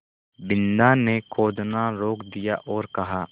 बिन्दा ने खोदना रोक दिया और कहा